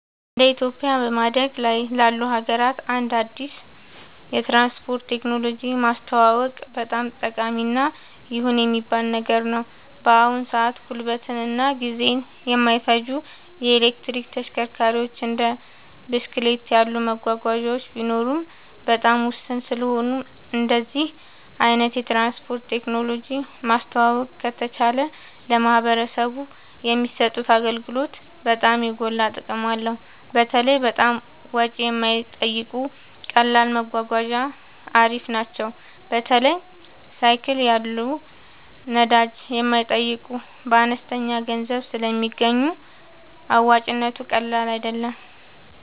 እንደ ኢትዮጵያ በማደግ ላይ ላሉ ሀገራት አንድ አዲስ የትራንስፖርት ቴክኖሎጂ ማስተዋወቅ በጣም ጠቃሚ እና ይሁን የሚባል ነገር ነው። በአሁን ሰአት ጉልበትን እና ጊዜን የማይፈጁ የኤሌክትሪክ ተሽከርካሪዎች እንደ ብስክሌት ያሉ መጓጓዣዎች ቢኖሩም በጣም ውስን ስለሆኑ እንደዚህ አይነት የትራንስፖርት ቴክኖሎጂ ማስተዋወቅ ከተቻለ ለማህበረሰቡ የሚሰጡት አገልግሎት በጣም የጎላ ጥቅም አለው። በተለይ በጣም ወጪ የማይጠይቁ ቀላል መጓጓዣ አሪፍ ናቸው። በተለይ ሳይክል ያሉ ነዳጅ የማይጠይቁ በአነስተኛ ገንዘብ ስለሚገኙ አዋጭነቱ ቀላል አይደለም